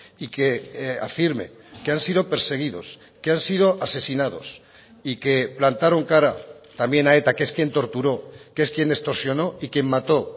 y que afirme que han sido perseguidos que han sido asesinados y que plantaron cara también a eta que es quien torturó que es quien extorsionó y quien mató